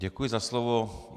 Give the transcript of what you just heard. Děkuji za slovo.